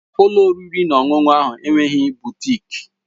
Ụlọ oriri na ọṅụṅụ ahụ enweghị butịk